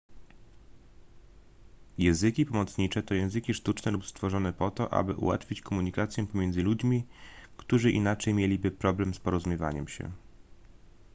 języki pomocnicze to języki sztuczne lub stworzone po to aby ułatwić komunikację pomiędzy ludźmi którzy inaczej mieliby problem z porozumiewaniem się